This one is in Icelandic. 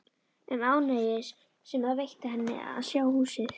Um ánægjuna sem það veitti henni að sjá húsið.